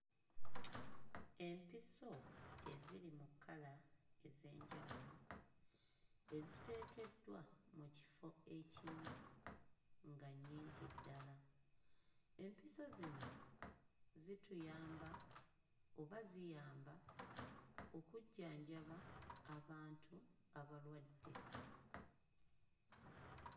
Empiso eziri mu kkala enz'enjawulo eziteekeddwa mu kifo ekimu nga nnyingi ddala empiso zino zituyamba oba ziyamba okujjanjaba abantu abalwadde.